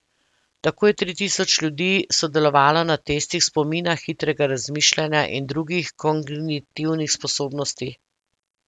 Tako je tri tisoč ljudi sodelovalo na testih spomina, hitrega razmišljanja in drugih kognitivnih sposobnosti.